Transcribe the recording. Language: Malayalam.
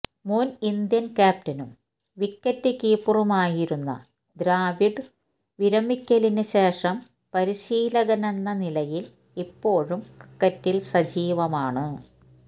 മുന് ഇന്ത്യന് ക്യാപ്റ്റനും വിക്കറ്റ് കീപ്പറുമായിരുന്ന ദ്രാവിഡ് വിരമിക്കലിന് ശേഷം പരിശീലകെന്ന നിലയില് ഇപ്പോഴും ക്രിക്കറ്റില് സജീവമാണ്